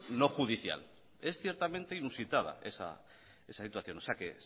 no judicial es ciertamente inusitada esa situación o sea que